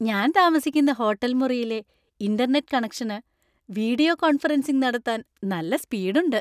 ഞാൻ താമസിക്കുന്ന ഹോട്ടൽ മുറിയിലെ ഇന്‍റർനെറ്റ് കണക്ഷന് വീഡിയോ കോൺഫറൻസിംഗ് നടത്താൻ നല്ല സ്പീഡ് ഉണ്ട്.